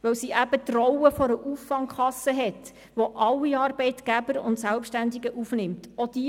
– Weil sie die Rolle einer Auffangkasse hat, von welcher alle Arbeitgeber und Selbstständigen aufgenommen werden.